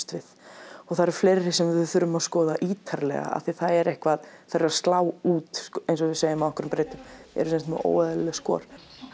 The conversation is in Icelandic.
við og það eru fleiri sem við þurfum að skoða ítarlega af því að það er eitthvað þær eru að slá út eins og við segjum á einhverri breytu eru með óeðlileg skor